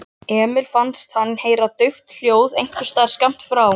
Emil fannst hann heyra dauft hljóð einhversstaðar skammt frá.